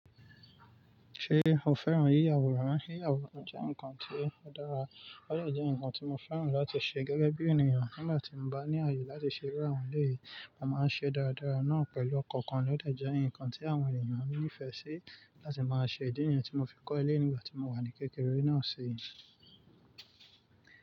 Ṣé o fẹ́ràn yíyàwòrán? Yíyàwòrán jẹ́ nǹkan tí ó dára kódà jẹ́ nǹkan tí mo fẹ́ràn láti ṣe gẹ́gẹ́ bí ènìyàn nígbà tí mo bá ní àyè láti ṣe irú àwọn èlé yìí, mo máa ṣe dáradára náà pẹ̀lú ọkàn kan ni ó dè jẹ́ nǹkan tí àwọn ènìyàn nífẹ̀ẹ́ sí láti máa ṣe. Ìdí nìyen tí mo fi kọ́ eléyìí nígbà tí mo wà ní kékeré náà sì i.